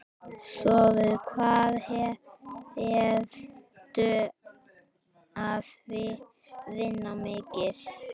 Sölvi: Hvað ertu að vinna mikið?